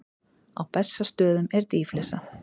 Á Bessastöðum er dýflissa.